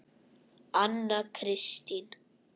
Anna Kristín